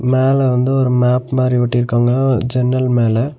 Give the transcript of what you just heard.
மேல வந்து ஒரு மேப் மாரி ஒட்டிருக்காங்க ஜன்னல் மேல.